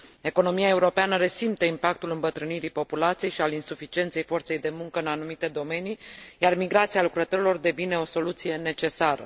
Economia europeană resimte impactul îmbătrânirii populației și al insuficienței forței de muncă în anumite domenii, iar migrația lucrătorilor devine o soluție necesară.